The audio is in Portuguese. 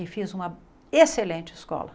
E fiz uma excelente escola.